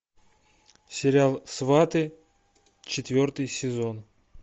сериал сваты четвертый сезон